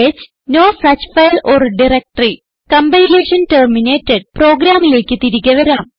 stingh no such file or directory compilation terminated പ്രോഗ്രാമിലേക്ക് തിരികെ വരാം